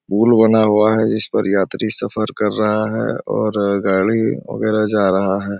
पुल बना हुआ है जिस पर यात्री सफर कर रहा है और गाड़ी वगैरह जा रहा है।